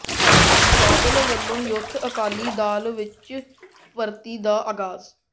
ਬਾਦਲ ਵੱਲੋਂ ਯੂਥ ਅਕਾਲੀ ਦਲ ਵਿੱਚ ਭਰਤੀ ਦਾ ਆਗਾਜ਼